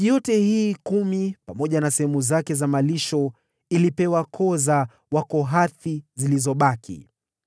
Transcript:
Miji yote hii kumi pamoja na sehemu zake za malisho ilipewa koo za Wakohathi zilizobaki.